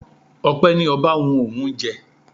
Ọpẹ ní ọba wu òun jẹ.